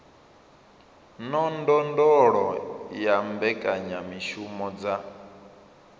na ndondolo ya mbekanyamushumo dza